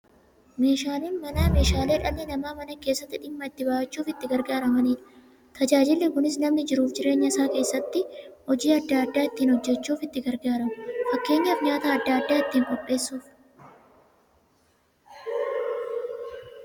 Meeshaaleen Manaa meeshaalee dhalli namaa Mana keessatti dhimma itti ba'achuuf itti gargaaramaniidha. Tajaajilli kunis, namni jiruuf jireenya isaa keessatti hojii adda adda ittiin hojjachuuf itti gargaaramu. Fakkeenyaf, nyaata adda addaa ittiin qopheessuuf.